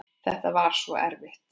Það var svo erfitt.